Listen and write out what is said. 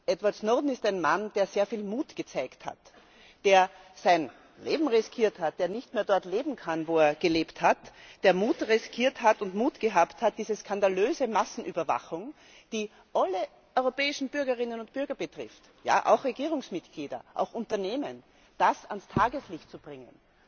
Edward Snowden ist ein Mann, der sehr viel Mut gezeigt hat, der sein Leben riskiert hat, der nicht mehr dort leben kann, wo er gelebt hat, der riskiert hat und den Mut gehabt hat, diese skandalöse Massenüberwachung, die alle europäischen Bürgerinnen und Bürger betrifft, ja, auch Regierungsmitglieder, auch Unternehmen, das alles ans Tageslicht zu bringen.